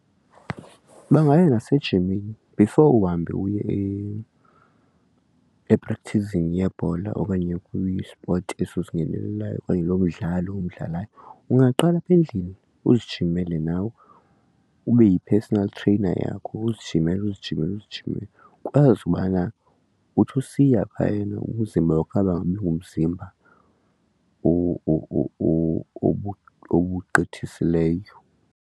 Bangaya nasejimini efore uhambe uye eprakthizini yebhola okanye kwisipothi eso usingenelayo okanye lo midlalo umdlalayo. Ungaqala apha endlini uzijimele nawe ube yi-personal trainer yakho uzijimele uzijimele uzijimele ukwazi ubana uthi usiya phayana umzimba wakho angabi ngomzimba ubugqithisileyo.